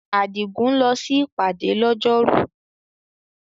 Adigun lọ sí ìpàdé lọ́jọ́rú.